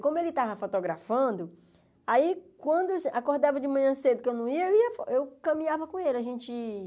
Como ele estava fotografando, aí quando eu acordava de manhã cedo, que eu não ia, eu ia eu caminhava com ele. A gente